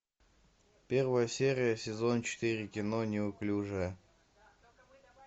первая серия сезон четыре кино неуклюжая